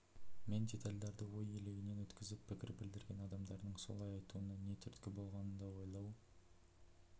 мен детальдерді ой елегінен өткізіп пікір білдірген адамдардың солай айтуына не түрткі болғанын да ойлау